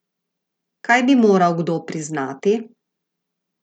Kaj bi moral kdo priznati?